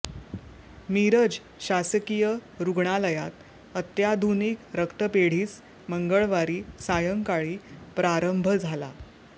मिरज शासकीय रूग्णालयात अत्याधुनिक रक्तपेढीस मंगळवारी सायंकाळी प्रारंभ झाला